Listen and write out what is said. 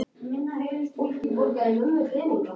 Jóhann: Varstu læstur inni?